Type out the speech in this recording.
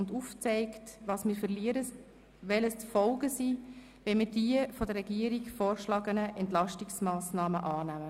Sie haben auch aufgezeigt, was wir verlieren und welches die Folgen sind, wenn wir die von der Regierung vorgeschlagenen Entlastungsmassnahmen annehmen.